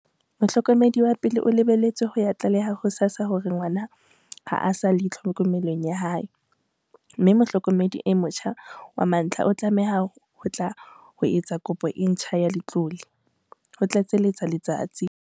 "Mohlokomedi wa pele o lebeletswe ho ya tlaleha ho SASSA hore ngwana ha a sa le tlhokomelong ya hae, mme mohlokomedi e motjha wa mantlha o tlameha ho tla ho etsa kopo e ntjha ya letlole," ho tlatseletsa Letsatsi.